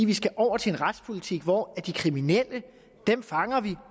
vi skal over til en retspolitik hvor vi fanger de kriminelle